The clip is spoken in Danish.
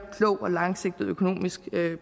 klog og langsigtet økonomisk